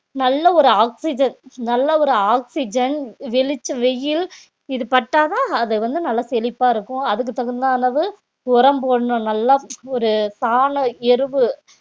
நல்ல ஒரு oxygen நல்ல ஒரு oxygen வெளிச்ச வெயில் இது பட்டாதான் அது வந்து நல்லா செழிப்பா இருக்கும் அதுக்கு தகுந்த அளவு உரம் போடணும் நல்லா ஒரு சாணம் எருவு